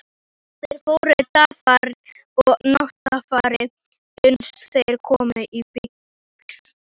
Þeir fóru dagfari og náttfari uns þeir komu í byggð.